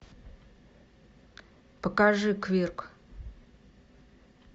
покажи квирк